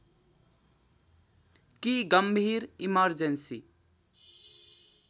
कि गम्भीर इमर्जेन्‍सी